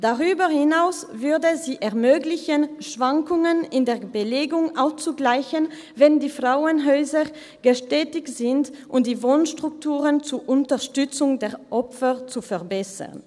Darüber hinaus würde sie es ermöglichen, Schwankungen in der Belegung auszugleichen, wenn die Frauenhäuser gesättigt sind, und die Wohnstrukturen zur Unterstützung der Opfer zu verbessern.